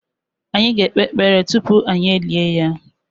Anyị ga-ekpe ekpere tupu anyị e lie ya.